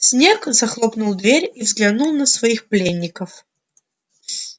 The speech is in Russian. снегг захлопнул дверь и взглянул на своих пленников